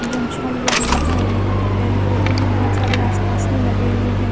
गमछा लिया हुआ है यहां पे पेड़ पौधे भी बहोत सारे आसपास में लगे हुए है।